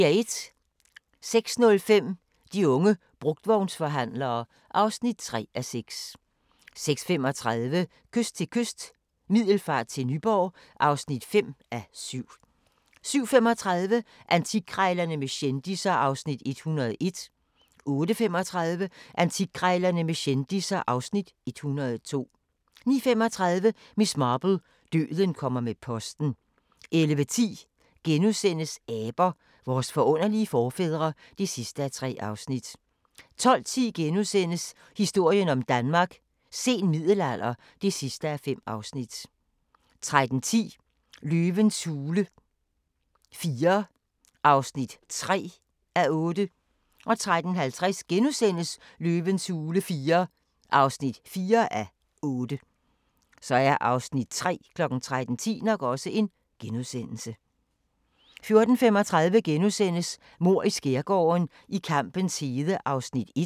06:05: De unge brugtvognsforhandlere (3:6) 06:35: Kyst til kyst – Middelfart til Nyborg (5:7) 07:35: Antikkrejlerne med kendisser (Afs. 101) 08:35: Antikkrejlerne med kendisser (Afs. 102) 09:35: Miss Marple: Døden kommer med posten 11:10: Aber – vores forunderlige forfædre (3:3)* 12:10: Historien om Danmark: Sen middelalder (5:5)* 13:10: Løvens hule IV (3:8) 13:50: Løvens hule IV (4:8)* 14:35: Mord i Skærgården: I kampens hede (Afs. 1)*